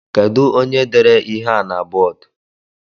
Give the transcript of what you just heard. Kedu onye dere ihe a na bọọdu?